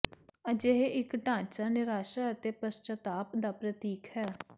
ਅਜਿਹੀ ਇਕ ਢਾਂਚਾ ਨਿਰਾਸ਼ਾ ਅਤੇ ਪਸ਼ਚਾਤਾਪ ਦਾ ਪ੍ਰਤੀਕ ਹੈ